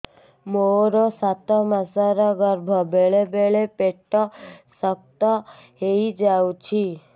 ମୋର ସାତ ମାସ ଗର୍ଭ ବେଳେ ବେଳେ ପେଟ ଶକ୍ତ ହେଇଯାଉଛି